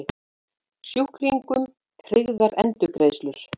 Sjúklingum tryggðar endurgreiðslur